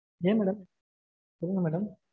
ஏன் madam? சொல்லுங்க madam.